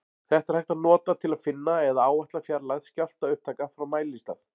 Þetta er hægt að nota til að finna eða áætla fjarlægð skjálftaupptaka frá mælistað.